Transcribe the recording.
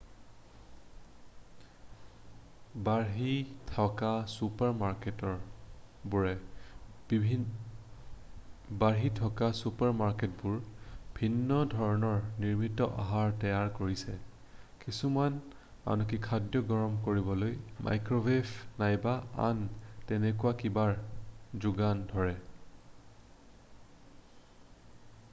বাঢ়ি থকা চুপাৰ মাৰ্কেটবোৰে ভিন্ন ধৰণৰ নিৰ্মিত আহাৰ তৈয়াৰ কৰিছে কিছুমানে আনকি খাদ্য গৰম কৰিবলৈ মাইক্ৰ'ৱেভ নাইবা আন তেনেকুৱা কিবাৰ যোগান ধৰে